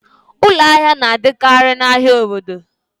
Ụlọ ahịa na-adịkarị n'ahia obodo